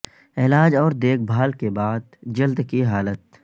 علاج اور دیکھ بھال کے بعد جلد کی حالت